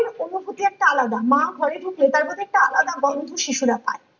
এর অনুভূতি একটা আলাদা মা ঘরে ঢুকলে তার প্রতি একটা আলাদা গন্ধ শিশুরা পায়